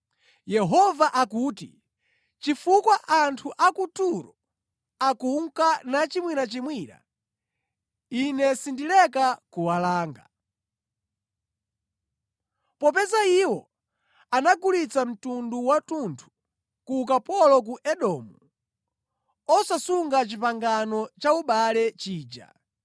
Yehova akuti, “Chifukwa anthu a ku Turo akunka nachimwirachimwira, Ine sindileka kuwalanga. Popeza iwo anagulitsa mtundu wathunthu ku ukapolo ku Edomu, osasunga pangano laubale lija,